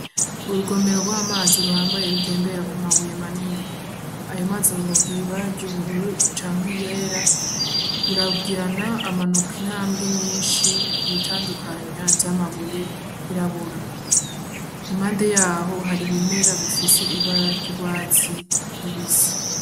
Urugomero rw'amazi ruhambaye rutembera ku mabuye manini, ayo mazi a ngomba kugira ibara ry'ubururu canke yera burabwirana amanuka intambwe nyinshi ku bitandukanywa vy'amabuye yirabura imante yaho hari ibimera bifise ibara ry'urwatsi rubise.